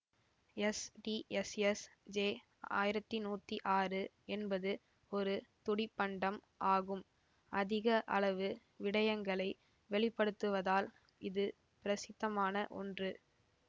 STSS J ஆயிரத்தி நூத்தி ஆறு என்பது ஒரு துடிப்பண்டம் ஆகும்அதிக அளவு விடயங்களை வெளிப்படுத்துவதால் இது பிரசித்தமான ஒன்று